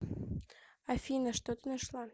афина что ты нашла